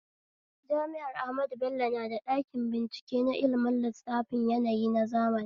Jami'ar ahmadu bello na da ɗakin bincike na ilmin lissafin yanayi na zamani